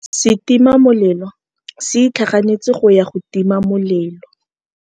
Setima molelô se itlhaganêtse go ya go tima molelô.